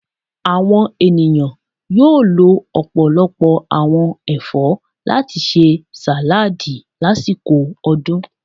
Awọn eniyan yóò lò ọpọlọpọ awọn ẹfọ lati ṣe saladi lasiko odun.